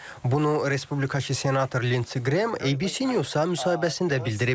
Bunu respublikaçı senator Linse Qrem ABC News-a müsahibəsində bildirib.